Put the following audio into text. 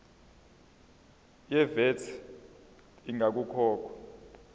ye vat ingakakhokhwa